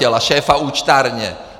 A šéfa účtárny.